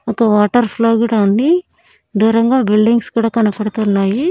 ఒక water flow కూడా ఉంది దూరంగా బిల్డింగ్స్ కూడా కనబడుతున్నాయి.